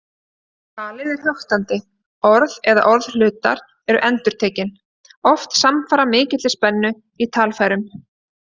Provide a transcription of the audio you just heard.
Talið er höktandi, orð eða orðhlutar eru endurtekin, oft samfara mikilli spennu í talfærum.